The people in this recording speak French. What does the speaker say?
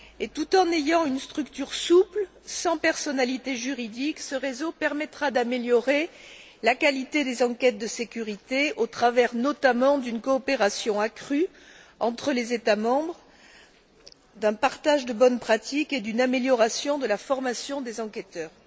Tout en ayant une structure souple, sans personnalité juridique, ce réseau permettra d'améliorer la qualité des enquêtes de sécurité au travers, notamment, d'une coopération accrue entre les États membres, d'un partage de bonnes pratiques et d'une amélioration de la formation des enquêteurs.